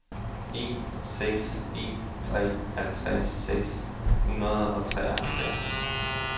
en seks en tre halvtreds seks hundrede og treoghalvfjerds